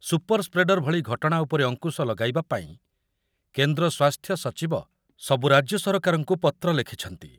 Super spreader ଭଳି ଘଟଣା ଉପରେ ଅଙ୍କୁଶ ଲଗାଇବା ପାଇଁ କେନ୍ଦ୍ର ସ୍ୱାସ୍ଥ୍ୟ ସଚିବ ସବୁ ରାଜ୍ୟ ସରକାରଙ୍କୁ ପତ୍ର ଲେଖିଛନ୍ତି।